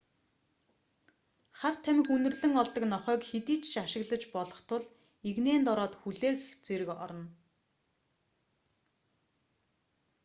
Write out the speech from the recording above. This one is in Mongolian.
хар тамхи үнэрлэн олдог нохойг хэдийд ч ашиглаж болох тул эгнээнд ороод хүлээх зэрэг орно